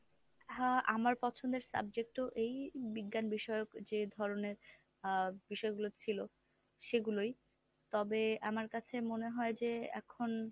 হ্যাঁ, আমার পছন্দের subject ও এই বিজ্ঞান বিষয়ক যে ধরনের আ বিষয়গুলো ছিল সেগুলোই তবে আমার কাছে মনে হয় যে এখন,